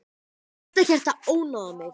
Þú ert ekkert að ónáða mig.